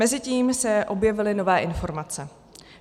Mezitím se objevily nové informace.